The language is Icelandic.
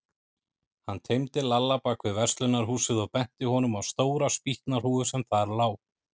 Hann teymdi Lalla bak við verslunarhúsið og benti honum á stóra spýtnahrúgu sem þar lá.